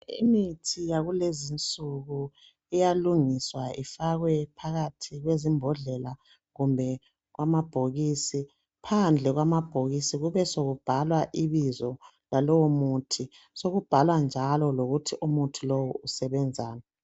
Imithi yakulezinsuku iyalungiswa ifakwe phakathi kwezimbondlela kumbe amabhokisi phandle kwamabhokisi kube sokubhalwa ibizo lalowo muthi sokubhalwa njalo lokuthi umuthi usebenzani.